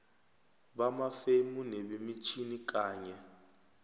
bamafemu nebemitjhini kanye